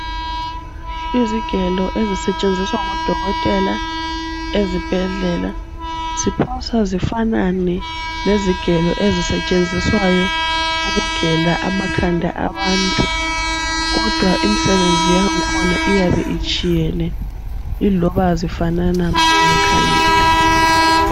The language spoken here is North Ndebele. Izigelo ezisetshenziswa ngodokotela ezibhedlela . Ziphosa zifanane lezigelo ezisetshenziswayo ukugela amakhanda abantu. kodwa imsebenzi yangkhona iyabe itshiyene iloba zifanana ma uzikhangele .